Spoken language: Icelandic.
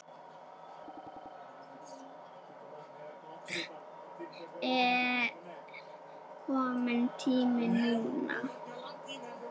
Er kominn tími núna?